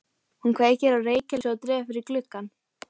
Hún kveikir á reykelsi og dregur fyrir gluggana.